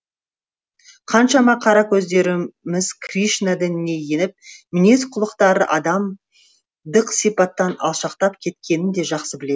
қаншама қара көздеріміз кришна дініне еніп мінез құлықтары адамдық сипаттан алшақтап кеткенін де жақсы білем